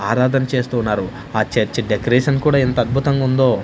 ఆరాధన చేస్తూ ఉన్నారు ఆ చర్చి డెకరేషన్ కూడా ఎంత అద్భుతంగా ఉందో.